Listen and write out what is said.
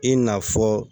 I n'a fɔ